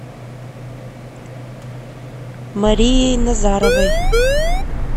марией назаровой